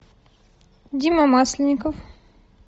дима масленников